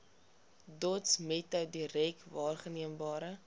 dotsmetode direk waarneembare